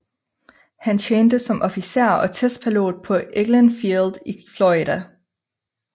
Han tjente som officer og testpilot på Eglin Field i Florida